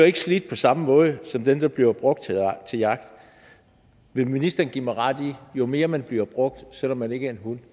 ikke slidt på samme måde som den der bliver brugt til jagt vil ministeren give mig ret i at jo mere man bliver brugt selv om man ikke er en hund